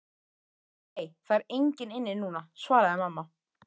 Nei, það er engin inni núna, svaraði mamma.